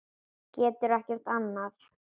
Getur ekkert annað.